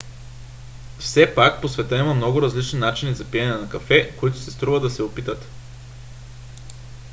все пак по света има много различни начини за пиене на кафе които си струва да се опитат